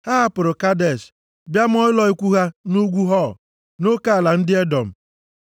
Ha hapụrụ Kadesh bịa maa ụlọ ikwu ha nʼugwu Hor nʼoke ala ndị Edọm.